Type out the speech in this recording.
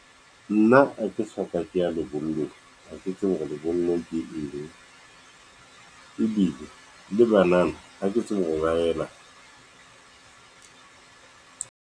Nna ha ke soka ke ya lebollong, ha ke tsebe hore lebollong ke eng, ebile le banana, ha ke tsebe ho ba yelang.